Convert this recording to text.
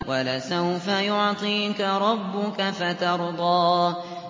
وَلَسَوْفَ يُعْطِيكَ رَبُّكَ فَتَرْضَىٰ